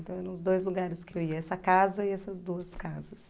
Então eram os dois lugares que eu ia, essa casa e essas duas casas.